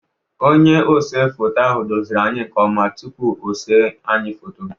Onye ose foto ahụ doziri anyị nkeọma tupuu osee anyị foto.